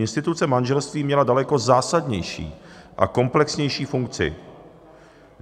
Instituce manželství měla daleko zásadnější a komplexnější funkci.